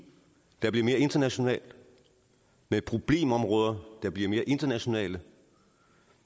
der bliver mere international med problemområder der bliver mere internationale